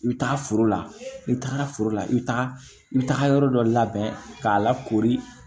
I bɛ taa foro la n'i taara foro la i bɛ taga i bɛ taga yɔrɔ dɔ labɛn k'a lakori